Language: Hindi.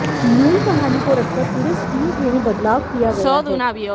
मूल कहानी को रखकर पूरे स्क्रीन प्ले में बदलाव किया गया है